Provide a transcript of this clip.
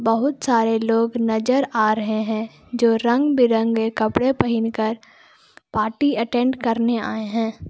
बहुत सारे लोग नजर आ रहे हैं जो रंग बिरंगे कपड़े पहिनकर पार्टी अटेंड करने आए हैं।